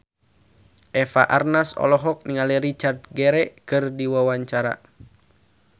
Eva Arnaz olohok ningali Richard Gere keur diwawancara